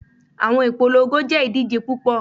Awọn ipolongo jẹ idije pupọ